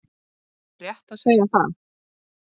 Er rétt að segja það?